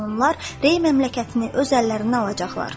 Gec-tez onlar Rey məmləkətini öz əllərindən alacaqlar.